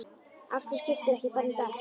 Af hverju skiptirðu ekki bara um dekk?